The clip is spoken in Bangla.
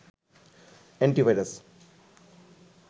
এন্টিভাইরাস